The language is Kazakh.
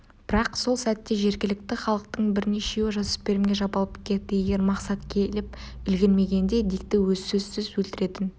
бірақ сол сәтте жергілікті халықтың бірнешеуі жасөспірімге жабылып кетті егер мақсат келіп үлгермегенде дикті сөзсіз өлтіретін